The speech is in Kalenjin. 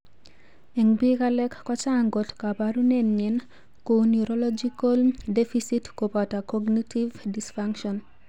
En pik alak kochang kot koporunenyin kou neurological deficitskopoto cognitive dysfunction.